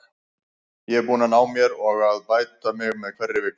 Ég er búinn að ná mér og er að bæta mig með hverri vikunni.